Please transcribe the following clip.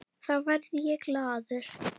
Þá verð ég glaður.